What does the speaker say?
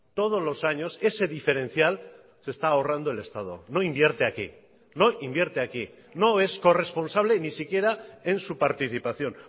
todos los años ese diferencial se está ahorrando el estado no invierte aquí no invierte aquí no es corresponsable ni siquiera en su participación